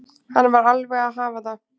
Hann var alveg að hafa það.